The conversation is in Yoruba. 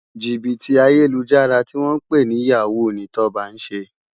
Jibiti Ayélújàrá tiwòn pè ni yáwú ni Toba n sé